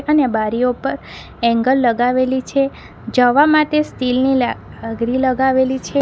અને બારીઓ પર એંગલ લગાવેલી છે જવા માટે સ્ટીલની લ આગરી લગાવેલી છે.